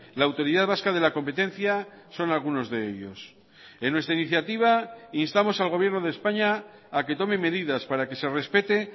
la autoridad vasca de la competencia son algunos de ellos en nuestra iniciativa instamos al gobierno de españa a que tome medidas para que se respete